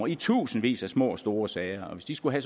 i tusindvis af små og store sager og hvis de skulle